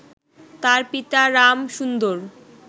তার পিতা রামসুন্দর